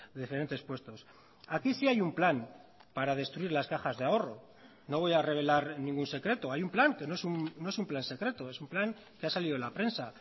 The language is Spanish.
diferentes puestos aquí sí hay un plan para destruir las cajas de ahorro no voy a revelar ningún secreto hay un plan que no es un plan secreto es un plan que ha salido en la prensa